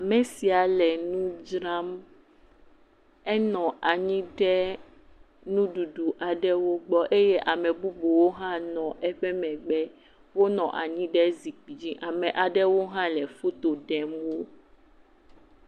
Ame sia le nu dzram. Enɔ anyi ɖe nu ɖuɖu aɖewo gbɔ eye ame bubuwo hã nɔ eƒe megbe. Wonɔ anyi ɖe zikpui dzi. Ame aɖewo hã le foto ɖem wo.